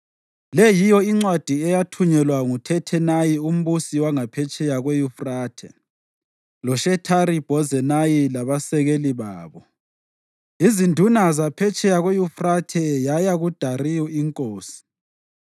Le yiyo incwadi eyathunyelwa nguThathenayi umbusi wangaphetsheya kweYufrathe loShethari-Bhozenayi labasekeli babo, izinduna zaphetsheya kweYufrathe yaya kuDariyu iNkosi.